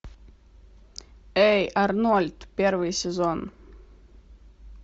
эй арнольд первый сезон